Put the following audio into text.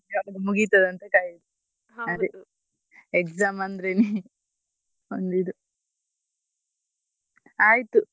ಯಾವಾಗ ಮುಗೀತದಂತ ಕಾಯುದು exam ಅಂದ್ರೆನೇ ಒಂದು ಇದು ಆಯ್ತು.